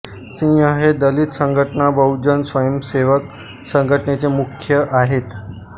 सिंह हे दलित संघटना बहुजन स्वयंसेवक संघटनेचे मुख्य आहेत